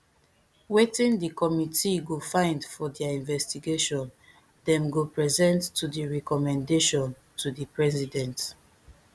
wetin di committee go find for dia investigation dem go present to di recommendation to di president